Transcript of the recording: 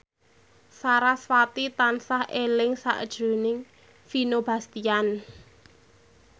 sarasvati tansah eling sakjroning Vino Bastian